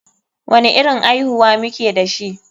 Wani irin aihuwa muke dashi?